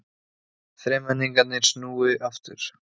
Þremenningarnir snúi aftur